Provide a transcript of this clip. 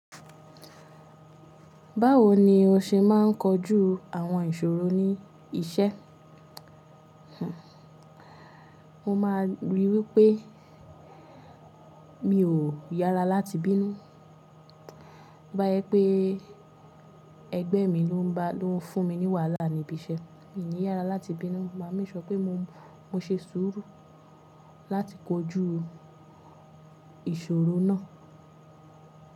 Báwo ni o ṣe máa ń kojú àwọn ìṣòro ní iṣẹ́? Mo máa rí wípé, mi ò yára láti bínú. Tobá jẹ pé ẹgbẹ́ mi ló ń fún mi ní wàhálà níbi iṣẹ́, mi ò ní yára láti bínú. Maa make sure pé mo, mo ṣe sùúrù láti kojú ìṣòro náà.